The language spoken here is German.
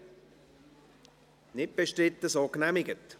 Wir setzen die Gesetzesberatung fort.